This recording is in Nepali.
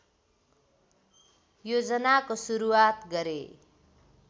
योजनाको सुरुवात गरे